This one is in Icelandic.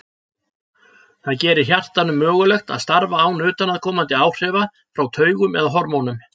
Það gerir hjartanu mögulegt að starfa án utanaðkomandi áhrifa frá taugum eða hormónum.